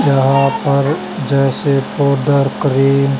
यहा पर जैसे पाउडर क्रीम --